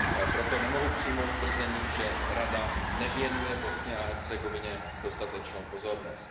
Proto nemohu přijmout tvrzení, že Rada nevěnuje Bosně a Hercegovině dostatečnou pozornost.